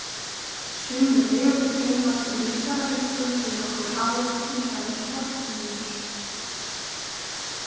Sumir vefir geymast í líffærabönkum í nokkur ár, til dæmis hornhimnur.